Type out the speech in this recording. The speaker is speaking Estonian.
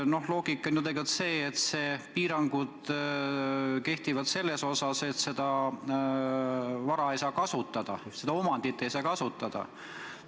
Loogika on ju tegelikult see, et piirangud kehtivad selle vara kasutamisele, omandi kasutamisele.